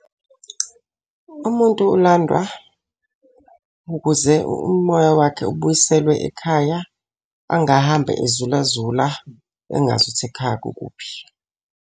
Umuntu ulandwa ukuze umoya wakhe ubuyiselwe ekhaya, angahambe ezula zula engazi ukuthi ekhaya kukuphi.